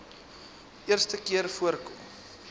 eerste keer voorkom